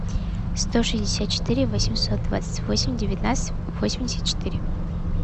сто шестьдесят четыре восемьсот двадцать восемь девятнадцать восемьдесят четыре